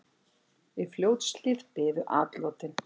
Í Fljótshlíð biðu atlotin.